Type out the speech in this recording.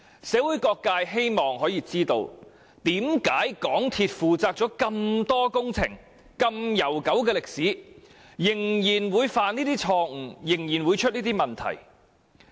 社會各界希望知道，為何港鐵公司曾進行這麼多工程，歷史如此悠久，仍然會犯這種錯誤，仍然會有這些問題。